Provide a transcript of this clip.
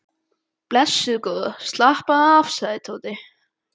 Blessuð góða slappaðu af sagði Tóti.